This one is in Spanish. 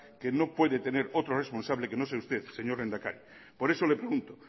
que no puede tener otro responsable que no sea usted señor lehendakari por eso le pregunto